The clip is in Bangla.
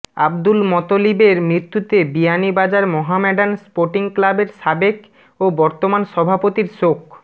আব্দুল মতলিবের মৃত্যুতে বিয়ানীবাজার মোহামেডান স্পোর্টিং ক্লাবের সাবেক ও বর্তমান সভাপতির শোক